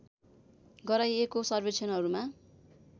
गराइएको सर्वेक्षणहरूमा